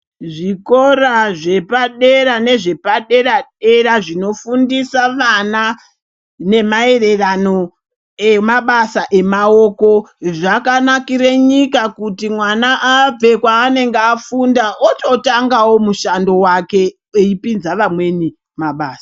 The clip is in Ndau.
Zvikora zvepadera nezvepadera-dera zvinofundisa vana nemaererano nemabasa emaoko zvakanakire nyika kuti mwana abve kwaange afunda ototangawo mushando wake eipinza vamweni mabasa.